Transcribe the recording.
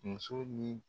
Muso ni